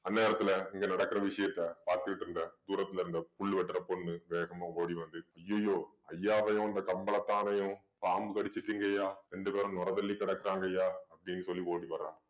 அந்நேரத்துல இங்க நடக்குற விஷயத்த பார்த்துக்கிட்டு இருந்த தூரத்துல இருந்த புல்வெட்டுற பொண்ணு வேகமா ஓடி வந்து ஐயயோ ஐயாவையும் இந்த கம்பளத்தானயும் பாம்பு கடிச்சிட்டிங்கய்யா ரெண்டு பேரும் நுரை தள்ளி கிடக்குறாங்கய்யா அப்படின்னு சொல்லி ஓடி வர்றா